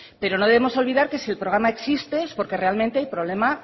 pero no debemos olvidar que si el programa existe es porque hay problema